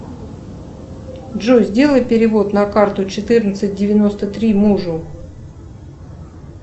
джой сделай перевод на карту четырнадцать девяносто три мужу